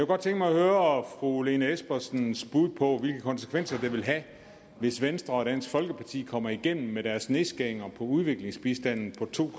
godt tænke mig at høre fru lene espersens bud på hvilke konsekvenser det vil have hvis venstre og dansk folkeparti kommer igennem med deres nedskæringer i udviklingsbistanden på to